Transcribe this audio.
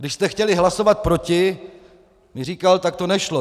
Když jste chtěl hlasovat proti, mi říkal, tak to nešlo.